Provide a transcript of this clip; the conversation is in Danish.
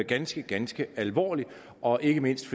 ganske ganske alvorlig og ikke mindst